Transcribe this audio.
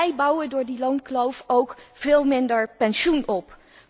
we bouwen door die loonkloof ook veel minder pensioen op.